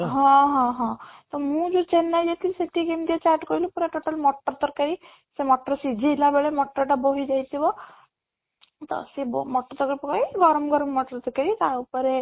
ହଁ ହଁ ହଁ ତ ମୁଁ ଯୋଉ ଚେନ୍ନାଇ ଯାଇଥିଲି ସେଠି କେମିତିଆ chat କହିଲୁ ପୁରା total ମଟର ତରକାରୀ ସେ ମଟର ସିଝେଇଲା ବେଳେ ମଟର ଟା ବୋହି ଯାଇଥିବା ତ ସେ ମଟର ତରକାରୀ ପକେଇ ଗରମ ଗରମ ମଟର ପକେଇ ତା ଉପରେ